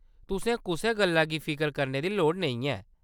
तुसें कुसै गल्लै दी फिकर करने दी लोड़ नेईं ऐ।